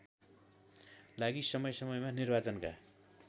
लागि समयसमयमा निर्वाचनका